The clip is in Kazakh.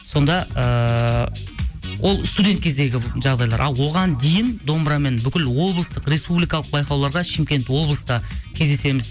сонда ыыы ол студент кездегі жағдайлар ал оған дейін домбырамен бүкіл облыстық республикалық байқауларға шымкент облыста кездесеміз